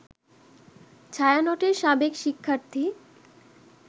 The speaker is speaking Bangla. ছায়ানটের সাবেক শিক্ষার্থী